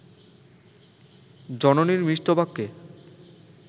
জননীর মিষ্টবাক্যে